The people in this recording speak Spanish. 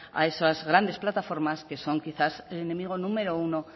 a esas grandes plataformas que son quizás enemigo número uno